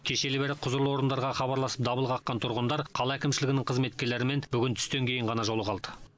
кешелі бері құзырлы орындарға хабарласып дабыл қаққан тұрғындар қала әкімшілігінің қызметкерлерімен бүгін түстен кейін ғана жолыға алды